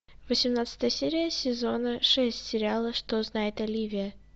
восемнадцатая серия сезона шесть сериала что знает оливия